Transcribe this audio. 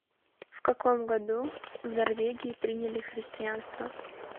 в каком году в норвегии приняли христианство